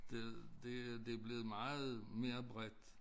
Det det er det blevet meget mere bredt